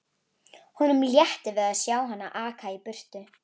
Honum létti við að sjá hana aka í burtu.